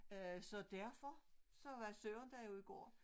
Øh så derfor så var Søren der jo i går